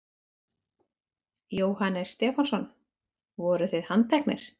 Jóhannes Stefánsson: Voruð þið handteknir?